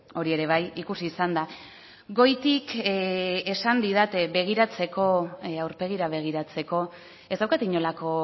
hori ere bai ikusi izan da goitik esan didate begiratzeko aurpegira begiratzeko ez daukat inolako